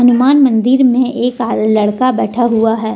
हनुमान मंदिर में एक लड़का बैठा हुआ है।